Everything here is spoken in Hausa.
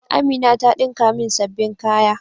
Amina ta dinka min sabbin kaya.